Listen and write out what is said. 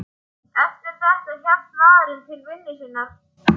Eftir þetta hélt maðurinn til vinnu sinnar.